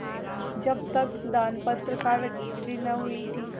जब तक दानपत्र की रजिस्ट्री न हुई थी